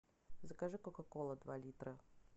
закажи кока кола два литра